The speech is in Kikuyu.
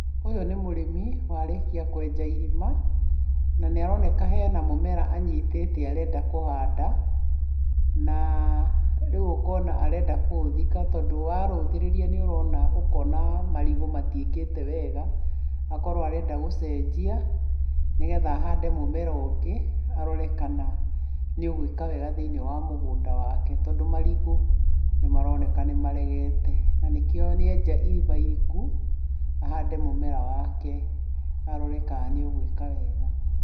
Ũyũ nĩ mũrĩmi warĩkia kwenja irima, na nĩ aroneka ena mũmera anyitĩte arenda kũhanda, na rĩu ũkona arenda kũũthika tondũ warũthĩrĩria nĩ ũrona marigũ matiĩkĩte wega, akorwo arenda gũcenjia nĩgetha ahande mũmera ũngĩ arore kana nĩ ũgwĩka wega thĩiniĩ wa mũgũnda wake tondũ marigũ nĩmaroneka nĩ maregete. Na nĩkĩo nĩenja irima iriku ahande mũmera wake arore kana nĩ ũgwĩka wega.